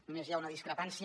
només hi ha una discrepància